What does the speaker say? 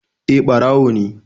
Eh, ɓarawo ne